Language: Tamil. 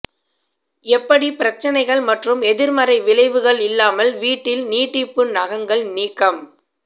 எப்படி பிரச்சினைகள் மற்றும் எதிர்மறை விளைவுகள் இல்லாமல் வீட்டில் நீட்டிப்பு நகங்கள் நீக்கம்